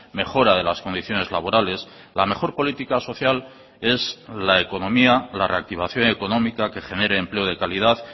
mejora de las condiciones laborales la mejor política social es la economía la reactivación económica que genere empleo de calidad